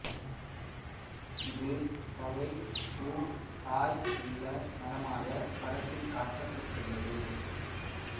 இது தழை பூ காய் உள்ள மரமாகப் படத்தில் காட்டப்பட்டுள்ளது